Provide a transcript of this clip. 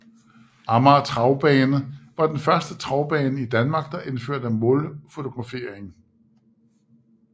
Amager Travbane var den første travbane i Danmark der indførte målfotografering